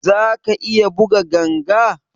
Ka iya buga ganga?